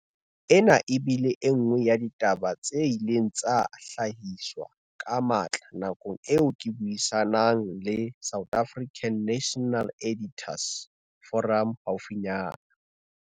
Ena e bile e nngwe ya ditaba tse ileng tsa hlahiswa ka matla nakong eo ke buisa nang le South African National Editors' Forum haufinyana.